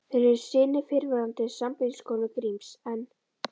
Þeir eru synir fyrrverandi sambýliskonu Gríms, en